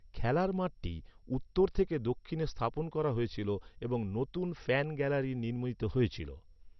খেলার মাঠটি উত্তর থেকে দক্ষিণে স্থাপন করা হয়েছিল এবং নতুন ফ্যান গ্যালারি নির্মিত হয়েছিল।